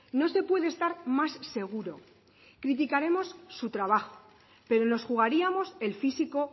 no se puede estar más seguro y criticaremos su trabajo pero nos jugaríamos el físico